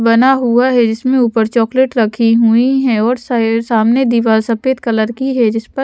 बना हुआ है जिसमे ऊपर चॉकलेट रखी हुई है और सामने दीवाल सफेद कलर की है जिस पर--